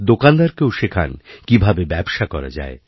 দোকানদারকেও শেখান কীভাবে ব্যবসা করা যায়